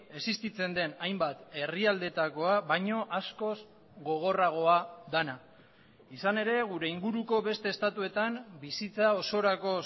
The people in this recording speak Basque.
existitzen den hainbat herrialdetakoa baino askoz gogorragoa dena izan ere gure inguruko beste estatuetan bizitza osorako